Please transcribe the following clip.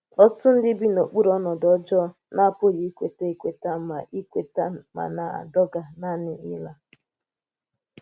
Ọ́tùtù̀ ndí bi n’okpuru ọnọdụ ọ́jọọ̀ na-apụghị ikweta ekwètà ma ekwètà ma na-àdọ̀gà nànị̀ ịlá